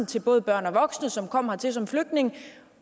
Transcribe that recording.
til både børn og voksne som kommer hertil som flygtninge